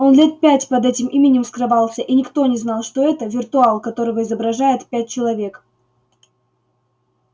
он лет пять под этим именем скрывался и никто не знал что это виртуал которого изображает пять человек